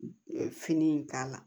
Fini in k'a la